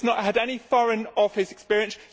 She has not had any Foreign Office experience